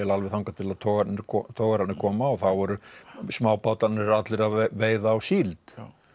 alveg þangað til togararnir togararnir koma og þá voru smábátarnir allir að veiða á síld